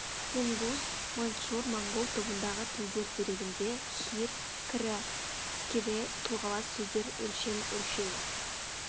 тунгус маньчжур моңғол тобындағы тілдер дерегінде хир кірі кирэ тұлғалас сөздер өлшем өлшеу